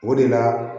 O de la